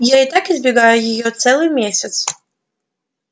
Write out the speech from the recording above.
я и так избегаю его целый месяц